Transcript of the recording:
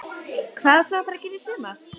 Hvað á svo að fara að gera í sumar?